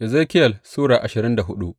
Ezekiyel Sura ashirin da hudu